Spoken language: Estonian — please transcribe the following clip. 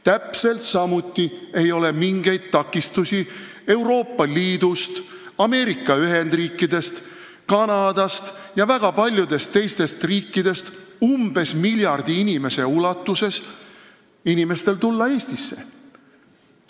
Täpselt samuti ei ole mingeid takistusi Euroopa Liidust, Ameerika Ühendriikidest, Kanadast ja väga paljudest teistest riikidest pärit inimestel, keda on umbes miljard, tulla Eestisse.